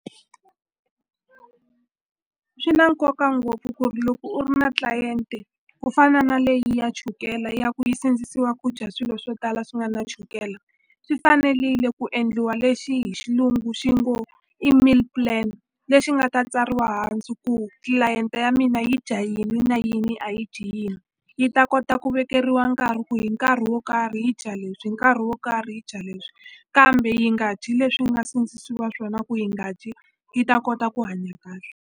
Swi na nkoka ngopfu ku ri loko u ri na client ku fana na leyi ya chukele ya ku yi sindzisiwa ku dya swilo swo tala swi nga na chukele swi fanelile ku endliwa lexi hi xilungu xi ngo i meal plan lexi nga ta tsariwa hansi ku tlilayente ya mina yi dya yini na yini a yi dyi yini yi ta kota ku vekeriwa nkarhi ku hi nkarhi wo karhi yi dya leswi hi nkarhi wo karhi yi dya leswi kambe yi nga dyi leswi yi nga sindzisiwa swona ku yi nga dyi yi ta kota ku hanya kahle.